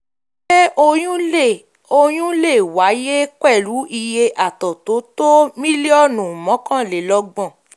ṣé oyún lè oyún lè wáyé um pẹ̀lú iye àtọ̀ tó um tó mílíọ̀nù um mọ́kànlelọ́gbọ̀n?